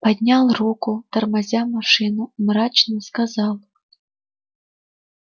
поднял руку тормозя машину мрачно сказал